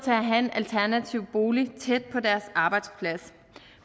at have en alternativ bolig tæt på deres arbejdsplads